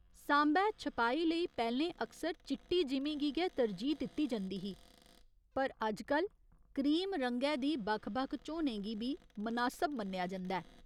सांबै छपाई लेई पैह्‌लें अक्सर चिट्टी जिमीं गी गै तरजीह् दित्ती जंदी ही पर अजकल क्रीम रंगै दी बक्ख बक्ख झोनें गी बी मनासब मन्नेआ जंदा ऐ।